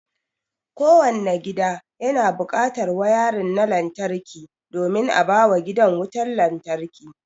Kowanne gida yana buƙatar wayarin na lantarki domin a bawa gidan wutar lantarki.